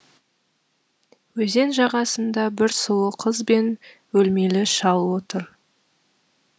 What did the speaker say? өзен жағасында бір сұлу қыз бен өлмелі шал отыр